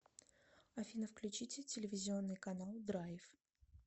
афина включите телевизионный канал драйв